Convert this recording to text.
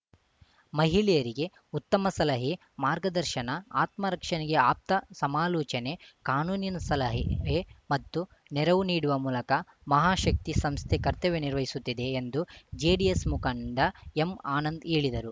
ಮಹಿಳೆಯರಿಗೆ ಉತ್ತಮ ಸಲಹೆ ಮಾರ್ಗದರ್ಶನ ಆತ್ಮರಕ್ಷಣೆಗೆ ಆಪ್ತ ಸಮಾಲೋಚನೆ ಕಾನೂನಿನ ಸಲಹೆ ಹೆ ಮತ್ತು ನೆರವು ನೀಡುವ ಮೂಲಕ ಮಹಾಶಕ್ತಿ ಸಂಸ್ಥೆ ಕರ್ತವ್ಯ ನಿರ್ವಹಿಸುತ್ತಿದೆ ಎಂದು ಜೆಡಿಎಸ್‌ ಮುಖಂಡ ಎಂಆನಂದ್‌ ಹೇಳಿದರು